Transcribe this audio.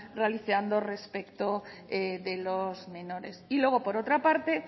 realizando respecto de los menores y luego por otra parte